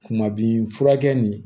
Kuma bi furakɛ ni